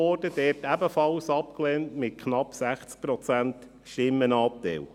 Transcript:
Sie wurde dort ebenfalls abgelehnt, mit knapp 60 Prozent Stimmenanteil.